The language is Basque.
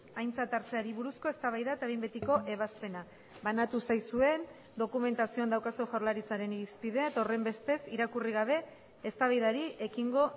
aintzat hartzeari buruzko eztabaida eta behin betiko ebazpena banatu zaizuen dokumentazioan daukazue jaurlaritzaren irizpidea eta horrenbestez irakurri gabe eztabaidari ekingo